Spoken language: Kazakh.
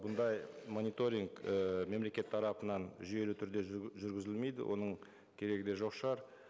бұндай мониторинг ііі мемлекет тарапынан жүйелі түрде жүргізілмейді оның керегі де жоқ шығар